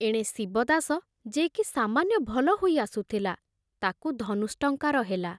ଏଣେ ଶିବଦାସ, ଯେ କି ସାମାନ୍ୟ ଭଲ ହୋଇ ଆସୁଥିଲା, ତାକୁ ଧନୁଷ୍ଟଙ୍କାର ହେଲା।